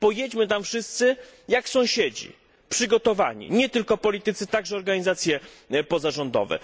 Pojedźmy tam wszyscy jak sąsiedzi, przygotowani, nie tylko politycy, ale także organizacje pozarządowe!